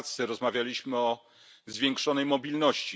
Pracy rozmawialiśmy o zwiększonej mobilności.